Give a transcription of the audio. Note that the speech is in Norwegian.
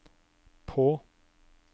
på